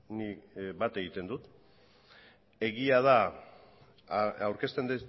nik bat egiten dut egia da aurkezten